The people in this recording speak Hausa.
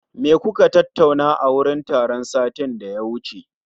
Me kuka tattauna a wurin taron satin da ya wuce?